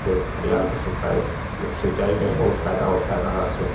खेत-खलियान क सिताई सिंचाई में बहोत फायदा होता है नहर से --